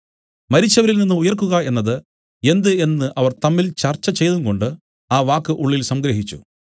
മരിച്ചവരിൽനിന്ന് ഉയിർക്കുക എന്നത് എന്ത് എന്നു അവർ തമ്മിൽ ചർച്ചചെയ്തുംകൊണ്ട് ആ വാക്ക് ഉള്ളിൽ സംഗ്രഹിച്ചു